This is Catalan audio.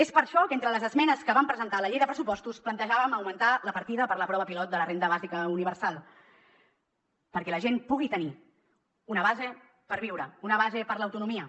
és per això que entre les esmenes que vam presentar a la llei de pressupostos plantejàvem augmentar la partida per a la prova pilot de la renda bàsica universal perquè la gent pugui tenir una base per viure una base per a l’autonomia